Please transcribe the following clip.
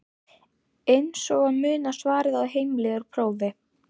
Eins og að muna svarið á heimleið úr prófi?